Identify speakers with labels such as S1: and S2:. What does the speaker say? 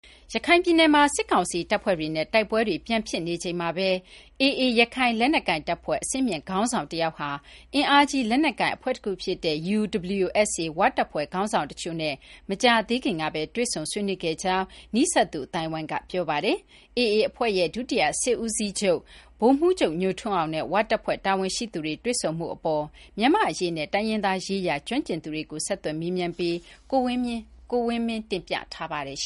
S1: ရခိုင်ပြည်နယ်မှာ စစ်ကောင်စီတပ်ဖွဲ့တွေနဲ့ တိုက်ပွဲတွေ ပြန်ဖြစ်နေချိန်မှာပဲ AA ရခိုင်လက်နက်ကိုင်တပ်ဖွဲ့ အဆင့်မြင့် ခေါင်းဆောင် တယောက်ဟာ အင်အားကြီးလက်နက်ကိုင် အဖွဲ့တခုဖြစ်တဲ့ UWSA ဝတပ်ဖွဲ့ခေါင်းဆောင် တချို့နဲ့ မကြာသေးခင်ကပဲ တွေ့ဆုံ ဆွေးနွေးခဲ့ကြောင်း နီးစပ်သူ အသိုင်းအဝိုင်းက ပြောပါတယ်။ AA အဖွဲ့ရဲ့ ဒုတိယစစ်ဦးစီးချုပ် ဗိုလ်မှူးချုပ် ညိုထွန်းအောင်နဲ့ ဝတပ်ဖွဲ့ တာဝန်ရှိသူတွေ တွေ့ဆုံမှုအပေါ် မြန်မာ့အရေးနဲ့ တိုင်းရင်းသားရေးရာ ကျွမ်းကျင်သူတွေကို ဆက်သွယ်မေးမြန်းပြီး ကိုဝင်းမင်း တင်ပြထားပါတယ်။